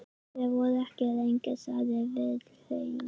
Þið voruð ekki lengi, sagði Vilhelm.